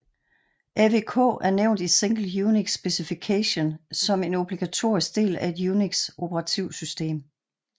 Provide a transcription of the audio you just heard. AWK er nævnt i Single UNIX Specification som en obligatorisk del af et Unix operativsystem